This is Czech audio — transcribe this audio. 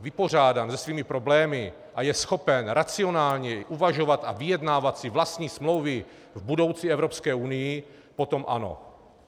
vypořádán se svými problémy a je schopen racionálněji uvažovat a vyjednávat si vlastní smlouvy v budoucí Evropské unii, potom ano.